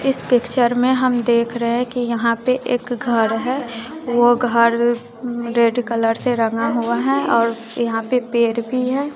इस पिक्चर में हम देख रहे है कि यहां पे एक घर है वो घर रेड कलर से रंगा हुआ हैं और यहां पर पेर भी है।